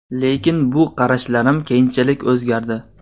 Lekin bu qarashlarim keyinchalik o‘zgardi.